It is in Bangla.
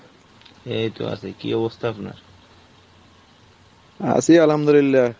এই তো আছি কী অবস্থা আপনার ? আছি আলহামদুলিল্লাহ,